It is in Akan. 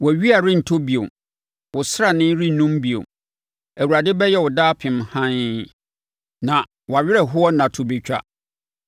Wʼawia rentɔ bio, wo srane rennum bio, Awurade bɛyɛ wo daapem hann, na wʼawerɛhoɔ nna to bɛtwa.